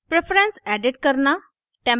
preference edit करना